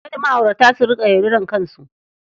Kada ma'aurata su riƙa yaudarar kansu.